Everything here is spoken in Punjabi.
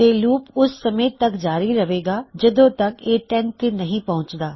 ਤੇ ਲੂਪ ਓਸ ਸਮੇਂ ਤਕ ਜਾਰੀ ਰਹੇਗਾ ਜਦੋਂ ਤਕ ਇਹ 10 ਤੇ ਨਹੀ ਪਹੁਂਚਦਾ